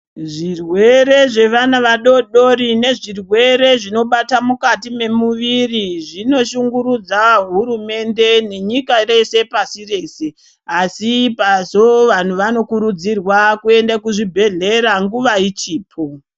Zvirwere zvevana vadodori nezvirwere zvinobata mukati memuviri zvinoshungurudza hurumende nenyika rese pasi rese asi pazo vanhu vanokurudzirwa kuende kuzvibhehlera nguwa ichipo.